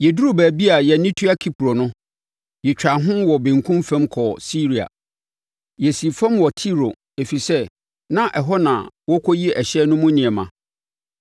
Yɛduruu baabi a yɛn ani tua Kipro no, yɛtwaa ho wɔ benkum fam kɔɔ Siria. Yɛsii fam wɔ Tiro, ɛfiri sɛ, na ɛhɔ na wɔrekɔyi ɛhyɛn no mu nneɛma.